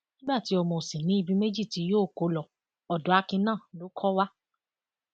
nígbà tí ọmọ ò sì ní ibi méjì tí yóò kó lo odò akin náà ló kọ wa